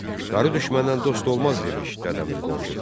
Qarı düşməndən dost olmaz demiş Dədəmiz Qorqud.